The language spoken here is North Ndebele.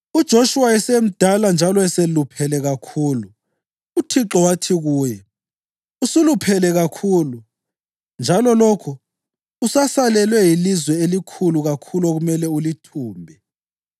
UJoshuwa esemdala njalo eseluphele kakhulu, uThixo wathi kuye, “Usuluphele kakhulu, njalo lokhu usasalelwe yilizwe elikhulu kakhulu okumele ulithumbe.